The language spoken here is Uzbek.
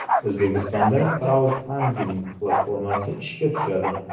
O‘zbekistonda kraudfanding platformasi ishga tushadi.